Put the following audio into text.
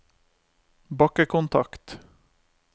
bakkekontakt